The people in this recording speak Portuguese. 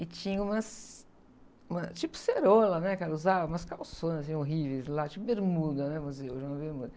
E tinha umas, uma, tipo ceroula, né, que ela usava, umas calçonas horríveis lá, tipo bermuda, né, mas não é uma bermuda.